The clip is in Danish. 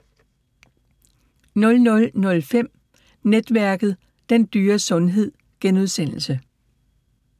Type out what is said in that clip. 00:05: Netværket: Den dyre sundhed *